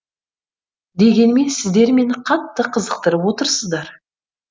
дегенмен сіздер мені қатты қызықтырып отырсыздар